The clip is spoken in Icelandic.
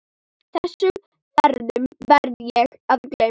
Þessum ferðum gleymi ég aldrei.